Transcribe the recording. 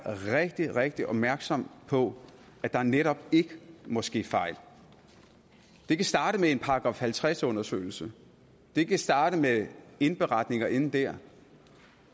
rigtig rigtig opmærksom på at der netop ikke må ske fejl det kan starte med en § halvtreds undersøgelse det kan starte med indberetning og ende der